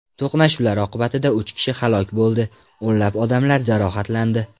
To‘qnashuvlar oqibatida uch kishi halok bo‘ldi, o‘nlab odamlar jarohatlandi.